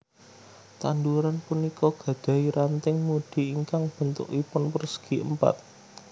Tanduran punika gadahi ranting mudi ingkang béntukipun pérsègi Èmpat